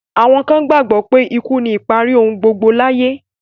Àwọn kan gbàgbọ́ pé ikú ni ìparí ohun gbogbo láyé.